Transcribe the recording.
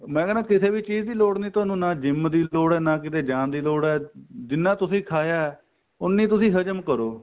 ਮੈਂ ਕਹਿਣਾ ਕਿਸੇ ਵੀ ਚੀਜ਼ ਦੀ ਲੋੜ ਨੀਂ ਤੁਹਾਨੂੰ ਨਾ GYM ਦੀ ਲੋੜ ਏ ਨਾ ਕਿਤੇ ਜਾਣ ਦੀ ਲੋੜ ਏ ਜਿੰਨਾ ਤੁਸੀਂ ਖਾਇਆ ਉੰਨੀ ਤੁਸੀਂ ਹਜਮ ਕਰੋ